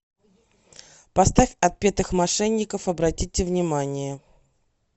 поставь отпетых мошенников обратите внимание